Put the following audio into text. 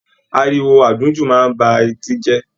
Àríwó àdùnjú máa n ba eti jẹ.